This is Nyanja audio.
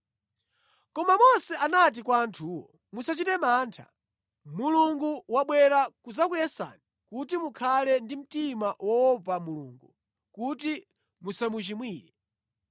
Koma Mose anati kwa anthuwo, “Musachite mantha. Mulungu wabwera kudzakuyesani kuti mukhale ndi mtima woopa Mulungu kuti musamuchimwire.”